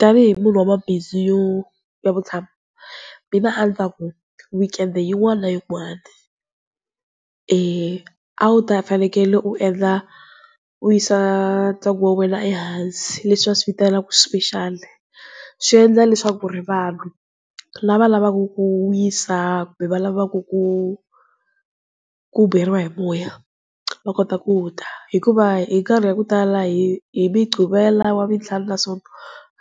Tanihi munhu wa mabindzu yo ya vutshamo mina anitaku weekend yin'wana na yin'wana a wu ta fanekele u endla, u yisa ntsengo wa wena ehansi leswi va swi vitanaka special. Swi endla leswaku ri vanhu lava lavaku ku wisa kumbe va lavaku ku ku beriwa hi moya va kota ku ta. Hikuva hi nkarhi ya ku tala hi hi mugqivela, wavuntlhanu na nsoto,